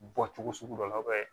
Bɔcogo sugu dɔ la